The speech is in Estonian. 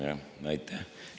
Aitäh!